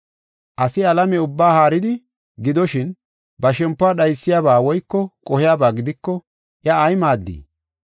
Asi alame ubbaa haaridi, gidoshin, ba shempiw dhaysiyaba woyko qohiyaba gidiko iya ay maaddii?